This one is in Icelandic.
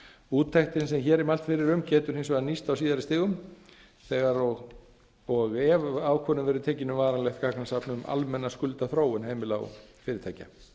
úttektin sem hér er mælt fyrir um getur hins vegar nýst á síðari stigum þegar og ef ákvörðun verður tekin um varanlegt gagnasafn um almenna skuldaþróun heimila og fyrirtækja